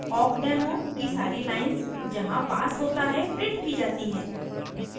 awkdemo की सारी lines जहाँ pass होता है printed की जाती हैं